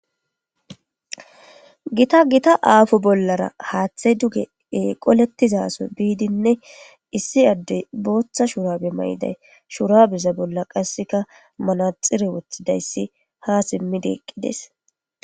gita gita aafo bollara haaththey duge qolettizaso biidinne issi addey booththa shurabe mayiday shurabeza bolla qasseka manaxire wothidayssi ha simmideeqqides